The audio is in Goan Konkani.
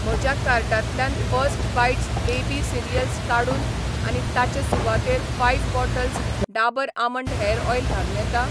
म्हज्या कार्टांतल्यान फर्स्ट बाईट्स बेबी सिरियल्स काडून आनी ताचे सुवातेर five bottles Dabur almond hair oil घालूं येता?